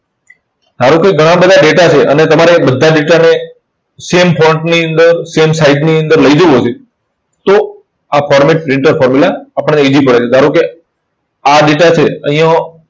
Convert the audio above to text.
ધારો કે ઘણા બધા data છે અને તમારે બધા data ને same ની અંદર same size ની અંદર લઇ જવો છે. તો આ format printer formula આપણને easy પડે છે. ધારો કે આ data છે. અહીંયા